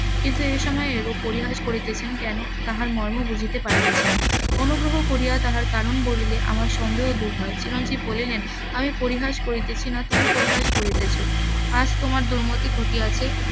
কিন্তু এই সময়ে এইরূপ পরিহাস করিতেছেন কেন তাহার মর্ম বুঝিতে পারিতেছি না অনুগ্রহ করিয়া তাহার কারণ বলিলে আমার সন্দেহ দূর হয় চিরঞ্জিব বলিলেন আমি পরিহাস করিতেছি না তুমি পরিহাস করিতেছ আজ তোমার .